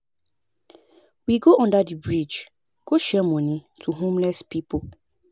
We go under the bridge go share money to homeless people